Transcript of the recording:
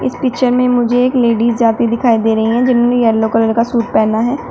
इस पिक्चर में मुझे एक लेडिस जाती दिखाई दे रही है जिनमें येलो कलर का सूट पहना है।